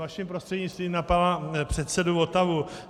Vaším prostřednictvím na pana předsedu Votavu.